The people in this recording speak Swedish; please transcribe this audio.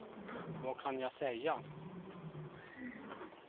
vad kan jag säga